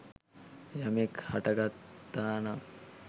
යමෙක් හටගත්තා නම්